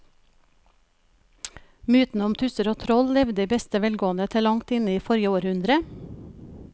Mytene om tusser og troll levde i beste velgående til langt inn i forrige århundre.